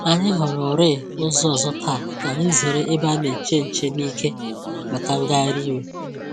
Anyị họrọ̀rị ụzọ ọzọ̀ taa ka anyị zere ebe a na-eche nche n’ike màkà ngagharị iwe